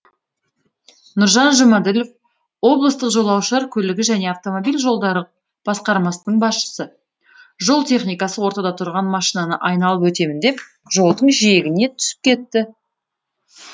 нұржан жұмаділов облыстық жолаушылар көлігі және автомобиль жолдары басқармасының басшысы жол техникасы ортада тұрған машинаны айналып өтемін деп жолдың жиегіне түсіп кетті